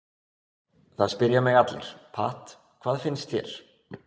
Það spyrja mig allir, Pat, hvað finnst þér?